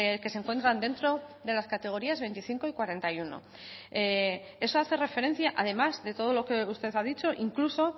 que se encuentran dentro de las categorías veinticinco y cuarenta y uno eso hace referencia además de todo lo que usted ha dicho incluso